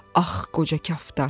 Ax qoca kaftar!